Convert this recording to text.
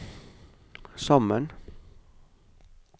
sammen